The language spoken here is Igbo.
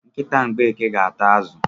Nkịta Mgbeke ga ata azụ.